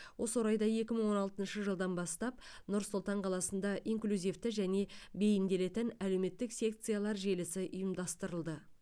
осы орайда екі мың он алтыншы жылдан бастап нұр сұлтан қаласында инклюзивті және бейімделетін әлеуметтік секциялар желісі ұйымдастырылды